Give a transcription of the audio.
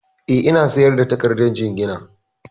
Eh, ina sayar da takardar jingina